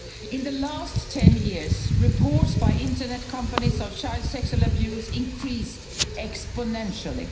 In the last 10 years, reports by internet companies of child sexual abuse increased exponentially.